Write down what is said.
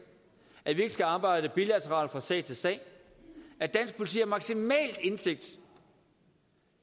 at vi ikke skal arbejde bilateralt fra sag til sag at dansk politi har maksimal indsigt